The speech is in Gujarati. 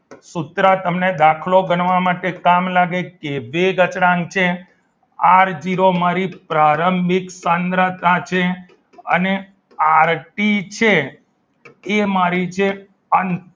સૂત્ર તમને દાખલો ગણવા માટે કામ લાગશે કે બે અચળાંક છે આર જીરો મારી પ્રારંભિક સાંદ્રતા છે અને આરટી છે તે મારી છે અંતિમ